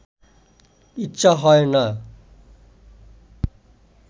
ইচ্ছা হয় না